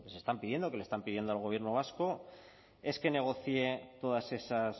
se están pidiendo que le están pidiendo al gobierno vasco es que negocie todas esas